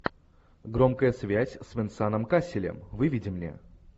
громкая связь с венсаном касселем выведи мне